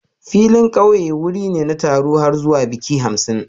Filin ƙauye wuri ne na taron har zuwa baƙi hamsin